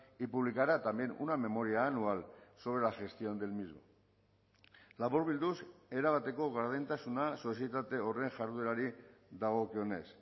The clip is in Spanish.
y publicará también una memoria anual sobre la gestión del mismo laburbilduz erabateko gardentasuna sozietate horren jarduerari dagokionez